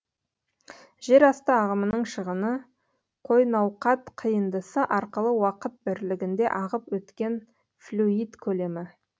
жерасты ағымының шығыны қойнауқат қиындысы арқылы уақыт бірлігінде ағып өткен флюид көлемі